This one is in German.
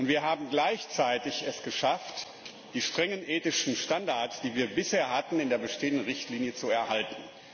Wir haben es gleichzeitig geschafft, die strengen ethischen Standards, die wir bisher hatten, in der bestehenden Richtlinie zu erhalten.